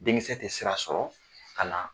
Denkisɛ tɛ sira sɔrɔ ka na